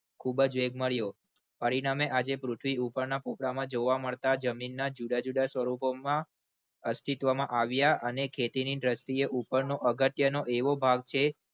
ખૂબ જ વેગ મળ્યો પરિણામે આજે પૃથ્વી ઉપરના પોપડામાં જોવા મળતા જમીનના જુદા જુદા સ્વરુપો માં અસ્તિત્વમાં આવ્યા અને ખેતીની દ્રષ્ટિએ ઉપરનો અગત્યનો એવો ભાવ છે ખૂબ જ વેગ મળ્યો.